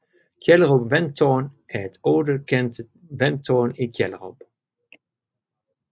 Kjellerup Vandtårn er et ottekantet vandtårn i Kjellerup